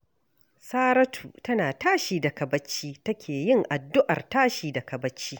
Saratu tana tashi daga bacci take yin addu'ar tashi daga bacci